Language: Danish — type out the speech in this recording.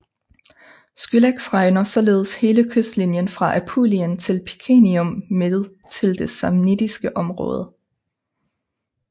Scylax regner således hele kystlinjen fra Apulien til Picenium med til det Samnittiske område